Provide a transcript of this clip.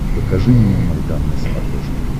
покажи мне майдан на смотрешке